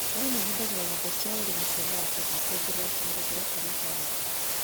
Arĩmi mahũthagĩra nyũmba cia ũrĩmi cia maratathi kwongerera kĩmera kĩa gũkũria karati.